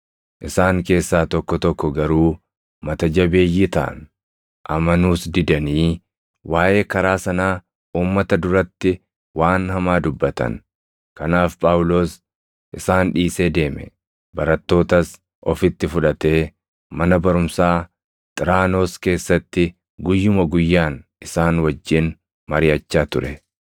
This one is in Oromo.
Isaan keessaa tokko tokko garuu mata jabeeyyii taʼan; amanuus didanii waaʼee karaa sanaa uummata duratti waan hamaa dubbatan; kanaaf Phaawulos isaan dhiisee deeme; barattootas ofitti fudhatee mana barumsaa Xiraanoos keessatti guyyuma guyyaan isaan wajjin mariʼachaa ture.